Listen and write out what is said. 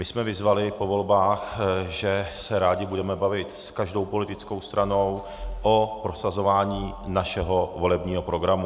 My jsme vyzvali po volbách, že se rádi budeme bavit s každou politickou stranou o prosazování našeho volebního programu.